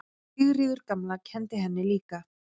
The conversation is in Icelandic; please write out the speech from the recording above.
Sigríður gamla kenndi henni líka.